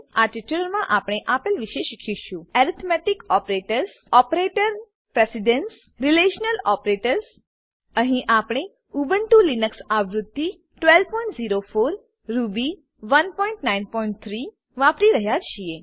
આ ટ્યુટોરીયલમાં આપણે આપેલ વિશે શીખીશું arithmetic operators arithmetic operators operator precedence operator precedence relational operators relational operators અહીં આપણે ઉબુન્ટુ લીનક્સ આવૃત્તિ 1204 રૂબી 193 વાપરી રહ્યા છીએ